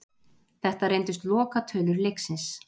Þetta reyndust lokatölur leiksins.